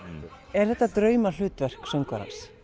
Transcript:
er þetta draumahlutverk söngvarans